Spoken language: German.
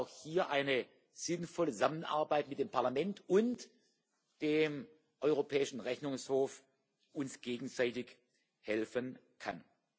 Ich glaube, dass auch hier eine sinnvolle Zusammenarbeit mit dem Parlament und dem Europäischen Rechnungshof uns gegenseitig helfen kann.